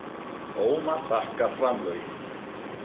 Ómar þakkar framlögin